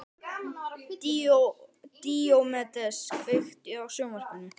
Díómedes, kveiktu á sjónvarpinu.